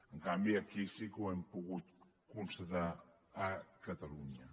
en canvi aquí sí que ho hem pogut constatar a catalunya